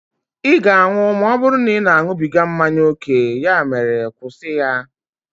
ị ga-anwụ ma ọ bụrụ na ị na-aṅụbiga mmanya ókè, ya mere kwụsị ya!